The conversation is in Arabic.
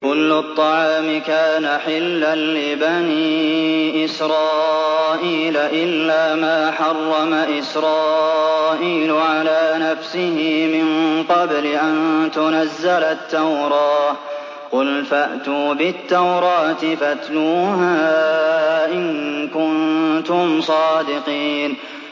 ۞ كُلُّ الطَّعَامِ كَانَ حِلًّا لِّبَنِي إِسْرَائِيلَ إِلَّا مَا حَرَّمَ إِسْرَائِيلُ عَلَىٰ نَفْسِهِ مِن قَبْلِ أَن تُنَزَّلَ التَّوْرَاةُ ۗ قُلْ فَأْتُوا بِالتَّوْرَاةِ فَاتْلُوهَا إِن كُنتُمْ صَادِقِينَ